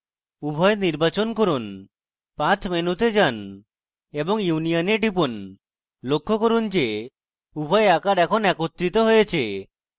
উভয় নির্বাচন করুন path মেনুতে যান এবং union এ টিপুন লক্ষ্য করুন go উভয় আকার এখন একত্রিত হয়েছে